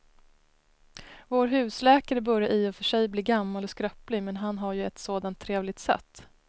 Vår husläkare börjar i och för sig bli gammal och skröplig, men han har ju ett sådant trevligt sätt!